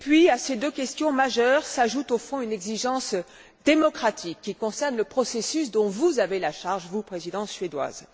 À ces deux questions majeures s'ajoute une exigence démocratique qui concerne le processus dont vous avez la charge, vous, Présidence suédoise.